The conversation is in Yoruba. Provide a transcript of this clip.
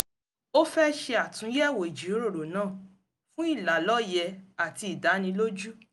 ó fẹ́ ṣe àtúnyẹ̀wò ìjíròrò náà fún ìlàlọ́ye àti ìdánilójú